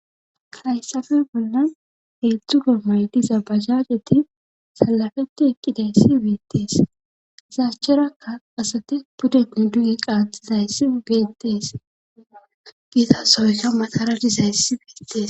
hayssafe bollan heetzdzu go maydiza bahajeti salafeti ekqidayssi beettees zaachcherakka asati puddenni duye qaatxizayssi geettees giizasooyka matara dizayssi beettees